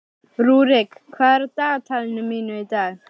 Rúrik, hvað er á dagatalinu mínu í dag?